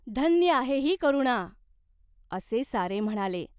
"धन्य आहे ही करुणा, " असे सारे म्हणाले.